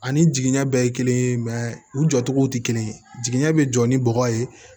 Ani jigiɲɛ bɛɛ ye kelen ye mɛ u jɔ cogo tɛ kelen ye jiginɛ bɛ jɔ ni bɔgɔ ye